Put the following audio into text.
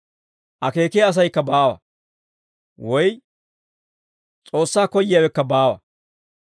Akeekiyaa asaykka baawa; woy S'oossaa koyyiyaawekka baawa.